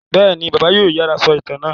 Bẹ́ẹ̀ni, Bàbá yóò ráyè sọ ìtàn náà.